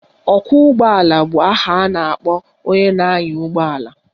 Ọkwọụgbọala bụ aha a na-akpọ onye na-anya ụgbọala